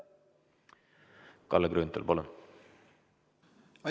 Kalle Grünthal, palun!